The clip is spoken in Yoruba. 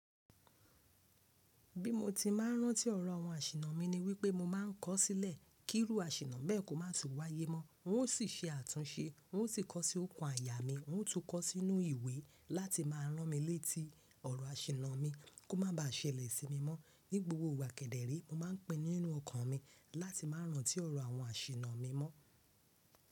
Bí mo ti máa n rántí ọ̀rọ̀ àwọn àṣìnnà mi ni wípé mo máa n kọ́ sílẹ̀ kí irú àṣìnnà bẹ́ẹ̀ kó má tún wáyé mọ́. N ó sì ṣe àtúnse, n ó sì kọ́ sí okùn àyà mi, n ó tún kọ́ sínú ìwé láti máa rán mi létí ọ̀rọ̀ àṣìnnà mi kó má ba à ṣẹlẹ̀ sí mi mọ́. Ní gbogbo ìgbà kẹ́ dẹ́re mo máa ń pinnu nínú ọkàn mi láti máa rántí ọ̀rọ̀ àwọn àṣìnnà mi mọ́.